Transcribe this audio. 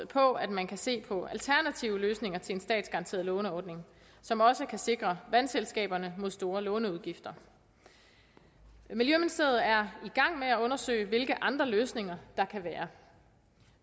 på at man kan se på alternative løsninger til en statsgaranteret låneordning som også kan sikre vandselskaberne mod store låneudgifter miljøministeriet er i gang med at undersøge hvilke andre løsninger der kan være